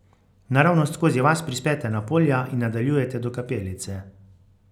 Naravnost skozi vas prispete na polja in nadaljujete do kapelice.